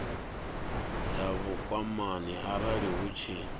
dza vhukwamani arali hu tshi